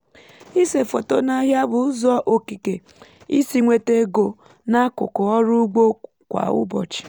ịse foto n’ahịa bụ ụzọ okike isi nweta ego n’akụkụ ọrụ ugbo kwa ụbọchị